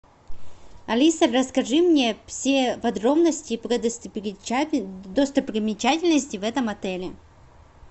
алиса расскажи мне все подробности про достопримечательности в этом отеле